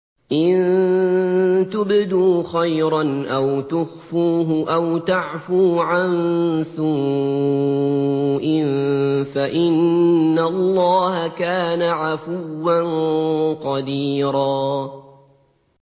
إِن تُبْدُوا خَيْرًا أَوْ تُخْفُوهُ أَوْ تَعْفُوا عَن سُوءٍ فَإِنَّ اللَّهَ كَانَ عَفُوًّا قَدِيرًا